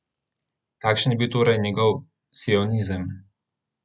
Kakšen je bil torej njegov sionizem?